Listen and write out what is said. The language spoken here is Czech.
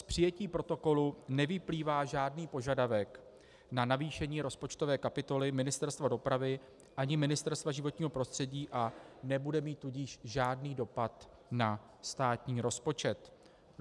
Z přijetí protokolu nevyplývá žádný požadavek na navýšení rozpočtové kapitoly Ministerstva dopravy ani Ministerstva životního prostředí, a nebude mít tudíž žádný dopad na státní rozpočet.